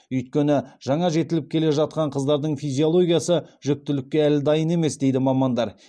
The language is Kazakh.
өйткені жаңа жетіліп келе жатқан қыздардың физиологиясы жүктілікке әлі дайын емес дейді мамандар